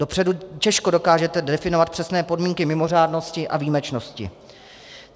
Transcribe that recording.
Dopředu těžko dokážete definovat přesné podmínky mimořádnosti a výjimečnosti.